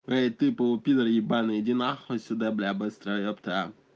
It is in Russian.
ты пполупидор ебаный идинахуй отсюда быстро епта